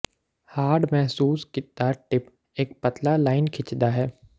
hard ਮਹਿਸੂਸ ਕੀਤਾ tip ਇੱਕ ਪਤਲਾ ਲਾਈਨ ਖਿੱਚਦਾ ਹੈ